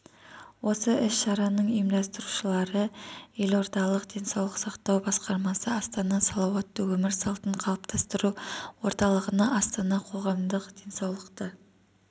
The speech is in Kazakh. осы іс-шараның ұйымдастырушылары елордалық денсаулық сақтау басқармасы астана салауатты өмір салтын қалыптастыру орталығы астана қоғамдық денсаулықты